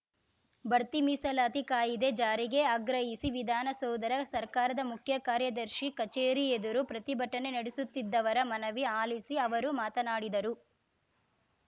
ಬಡ್ತಿ ಮೀಸಲಾತಿ ಕಾಯಿದೆ ಜಾರಿಗೆ ಆಗ್ರಹಿಸಿ ವಿಧಾನಸೌಧರ ಸರ್ಕಾರದ ಮುಖ್ಯಕಾರ್ಯದರ್ಶಿ ಕಚೇರಿ ಎದುರು ಪ್ರತಿಭಟನೆ ನಡೆಸುತ್ತಿದ್ದವರ ಮನವಿ ಆಲಿಸಿ ಅವರು ಮಾತನಾಡಿದರು